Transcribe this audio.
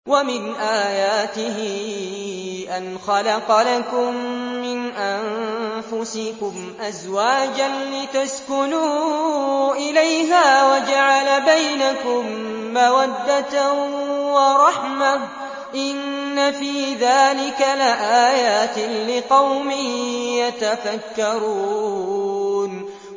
وَمِنْ آيَاتِهِ أَنْ خَلَقَ لَكُم مِّنْ أَنفُسِكُمْ أَزْوَاجًا لِّتَسْكُنُوا إِلَيْهَا وَجَعَلَ بَيْنَكُم مَّوَدَّةً وَرَحْمَةً ۚ إِنَّ فِي ذَٰلِكَ لَآيَاتٍ لِّقَوْمٍ يَتَفَكَّرُونَ